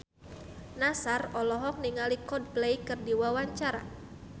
Nassar olohok ningali Coldplay keur diwawancara